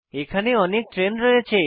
এখানে অনেক ট্রেন রয়েছে